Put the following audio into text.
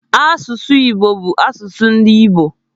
Asụsụ Igbo bụ asụsụ ndị Igbo.